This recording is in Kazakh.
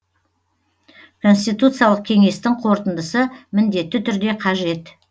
конституциялық кеңестің қорытындысы міндетті түрде қажет